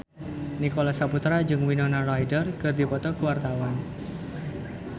Nicholas Saputra jeung Winona Ryder keur dipoto ku wartawan